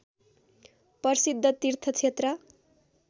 प्रसिद्ध तीर्थ क्षेत्र